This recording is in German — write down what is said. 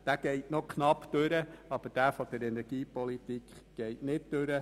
Dieses Ziel geht noch knapp durch, aber das energiepolitische nicht.